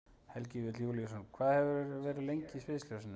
Helgi Vífill Júlíusson: Hvað hefurðu verið lengi í sviðsljósinu?